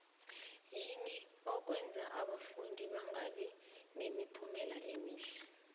yini okwenza abafundi bangabi nemiphumela emihle